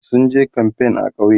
sunje kamfain a ƙauye